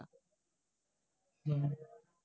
হম